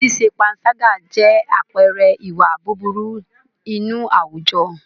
Ṣíṣe pańṣágà jẹ́ àpẹẹrẹ ìwà búburú inú àwùjọ.